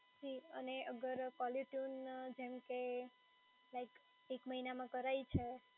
અને અગર કોલરટયુન જેમ કે like એક મહિનામાં કરાઈ છે